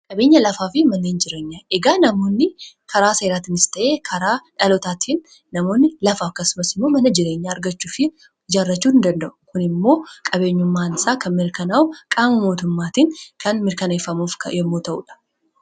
Qabeenya lafaa fi manneen jireenyaa. Egaa namoonni karaa seeraatinis ta'ee karaa dhalootaatiin namoonni lafaa akkasumas immoo mana jireenyaa argachuu fi ijaarrachuu ni danda'u. Kun immoo qabeenyummaan isaa kan mirkanaa'u qaama mootummaatiin kan mirkaneeffamuuf yommuu ta'uudha.